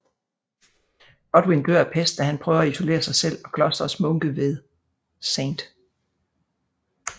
Godwyn dør af pest da han prøver at isolere sig selv og klosterets munke ved St